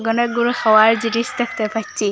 অনেকগুলো খাওয়ার জিনিস দেখতে পাচ্ছি।